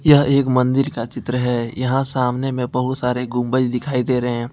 यह एक मंदिर का चित्र है यहां सामने में बहुत सारे गुंबज दिखाई दे रहे है।